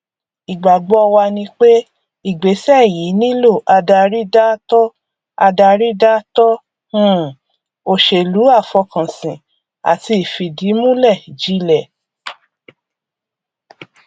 ìgbàgbọ wa ni pé ìgbésẹ yìí nílò adarí dáátọ adarí dáátọ um òṣèlú àfọkànsìn àti ìfìdímúlẹ jilẹ